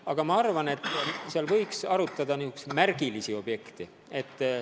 Aga ma arvan, et arutada võiks niisuguseid märgilisi objekte.